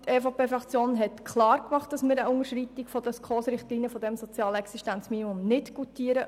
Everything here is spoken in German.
Die EVP-Fraktion hat einerseits klar gemacht, dass sie eine Unterschreitung der SKOS-Richtlinien beim sozialen Existenzminimum nicht goutiert.